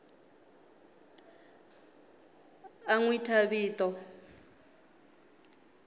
a n wi thya vito